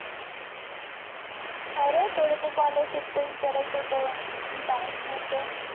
अरे थोड़ ते scholarship च विचारायचा होत bank मधल